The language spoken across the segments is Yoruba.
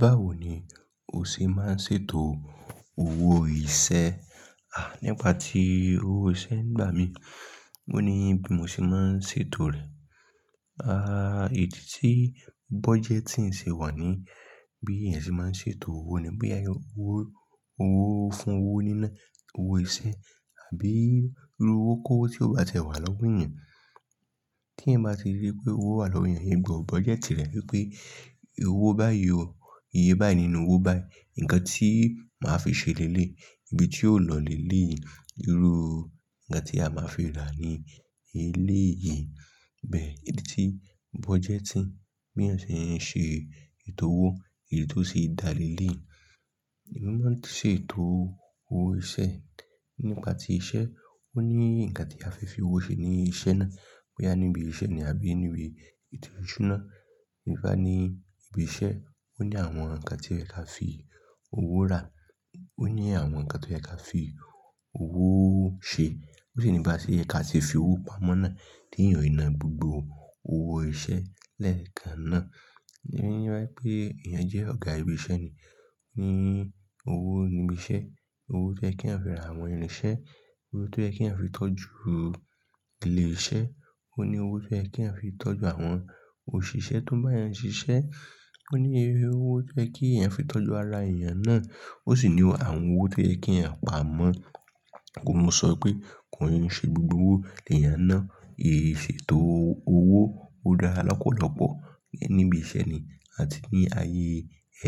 Báwo ni o ṣe máa ń ṣètò owó iṣẹ́? À, nípa ti owó iṣẹ́ ń gbá mi, mo ní bí mo ṣe máa ń ṣètò rẹ̀. À, idí tí budgeting ṣe wà ní bí èèyàn ṣe máa ń ṣètò owó ni. Boya èèyàn yóò owo, owo fún owó níná owó iṣẹ́ àbí irú owó kó tí ó bá tiẹ wà lọ́gún èèyàn. Tí ẹ̀eyan bá ti rí pé owó wà lọ́ wo eeyàn, eeyan n gbọ̀ budgeti rẹ wipé owó báyìí ò, iye báyìí nínú owó báyìí, ǹnkan tí màá fi ṣe léle yii, ibi tí ó lọ léle yi, irú ǹnkan tí a máa fi rà ní eléyìí. Bẹ́ẹ̀, idí tí budgeting bí èèyàn ṣe ń ṣe ètò owó, èyí tó ṣe é dá léle. Emi máa ń ṣètò owo, owó iṣẹ́, nígba ti iṣẹ́, ó ní nǹkan tí a fẹ́ fi owó ṣe ní iṣẹ́ náà. Boyà níbi iṣẹ́ ni àbí níbi ètò ìṣúná, nípa ní ibi iṣẹ́, ó ní àwọn ǹnkan tí ẹ ka fi owó rà, ó ní àwọn ǹnkan tó yẹ ka fi owóo ṣe, ó sì nípa ṣé ẹ ka ṣe fi owó pamọ́ náà. Tí ẹ̀eyàn yi ná gbogbo owó iṣẹ́ lẹ́ẹ̀kan náà. Ìru yen repé èèyàn jẹ́ ọ̀gá ibi iṣẹ́ ni, ó ní owó níbi iṣẹ́, owó tó ẹ kí ẹ̀ afi ra àwọn irinṣẹ́, owó tó ẹ kí ẹ̀ fi tọ́jú ilé iṣẹ́, ó ní owó tó ẹ kí ẹ̀ fi tọ́jú àwọn òṣìṣẹ́ tó bá e ń ṣiṣẹ́, ó ní iye owó tó ẹ kí ẹ̀ fi tọ́jú ara èèyàn náà. Ó sì ní àwọn owó tó ẹ kí a pa mọ́. Ohun mo sọ pé kò n ṣe gbogbo owó lèyàn n náà. Ìṣètò o, owó ọ̀ dára lọ́pọ̀lọ́pọ̀. Ǹ ní ibi iṣẹ́ ni àti ní ayé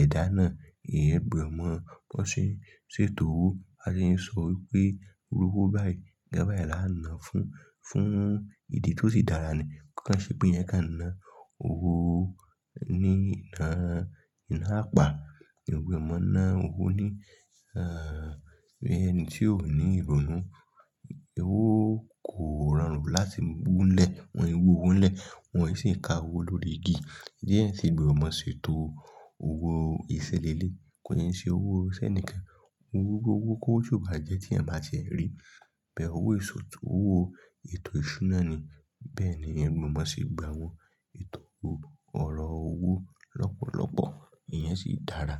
ẹ̀dá náà, ẹ́eyan gbọ̀ n mọ́ kan ṣe ń ṣètò owó. A lè ń sọ wípé irú owó báyìí ń gba báyìí la ń lo fún, fún ìdí tó sì dára ni. Kan ṣe pé ẹ̀ ka ná owó ní ni nà, iná apá, ìwé mọ́ ná owó ní, ah, bí ẹni tí ó ní ìrònú. Owó kò rọrùn láti mú lẹ̀, wọn yóò wu owó n lẹ̀, wọn sì ń ka owó lórí igi. Diẹ́ sì gbọ̀nmọ̀ ṣètò owó iṣiléle. Kò yẹ n ṣe owó ṣẹ́ enìkan. Owó gbọ́wọ́ kó su bá jẹ́ tí ẹ̀ má ṣe rí. Bẹ́ẹ̀ owó ìṣòtò owó, ètò ìṣúná ni. Bẹ́ẹ̀ ni ẹ̀ gbọ̀nmọ̀ sì gba àwọn ètò owó ọ̀rọ̀ owó lọ́pọ̀lọ́pọ̀. Ìyẹn sì dára.